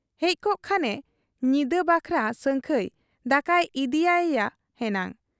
ᱦᱮᱡᱠᱚᱜ ᱠᱷᱟᱱᱮ ᱧᱤᱫᱟᱹ ᱵᱟᱠᱷᱨᱟ ᱥᱟᱹᱝᱠᱷᱟᱹᱭ ᱫᱟᱠᱟᱭ ᱤᱫᱤᱭᱟᱫ ᱮᱭᱟ ᱦᱮᱱᱟᱝ ᱾